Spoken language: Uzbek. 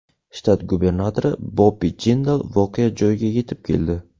Shtat gubernatori Bobbi Jindal voqea joyiga yetib keldi.